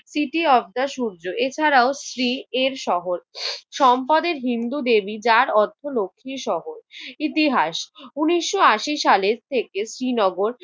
তিথি অর্থ সূর্য। এছাড়াও শ্রী এর শহর। সম্পদের হিন্দু দেবী যার অর্থ লক্ষ্মীর শহর। ইতিহাস, উনিশ আশি সালের থেকে শ্রীনগর